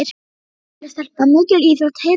Þetta er myndarleg stelpa, mikil íþróttahetja.